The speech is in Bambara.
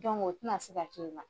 o tɛ na se ka kɛ ma.